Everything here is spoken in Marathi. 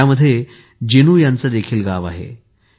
यात जिनु यांचे गाव देखील आहे